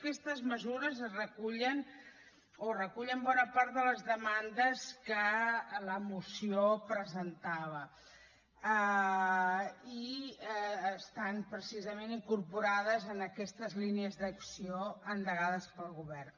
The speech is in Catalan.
aquestes mesures recullen bona part de les demandes que la moció presentava i estan precisament incorporades en aquestes línies d’acció endegades pel govern